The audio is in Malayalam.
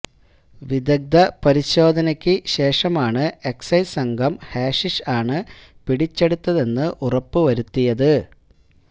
വിദഗ്ധ പരിശോധന്ക്കു ശേഷമാണ് എക്സൈസ് സംഘം ഹാഷിഷ് ആണ് പിടിച്ചെടുത്തതെന്ന് ഉറപ്പുവരുത്തിയത്